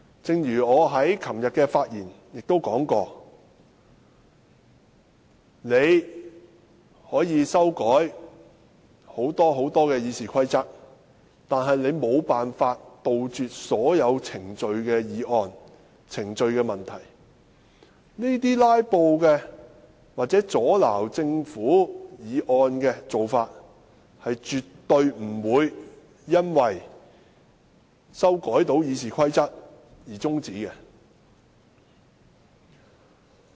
正如我昨天在發言時說，建制派可以大幅修改《議事規則》，但他們無法杜絕所有程序問題，這些"拉布"或阻撓政府議案的做法，絕對不會因為修改了《議事規則》而終止。